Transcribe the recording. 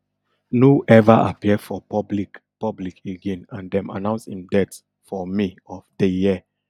no ever appear for public public again and dem announce im death for may of day year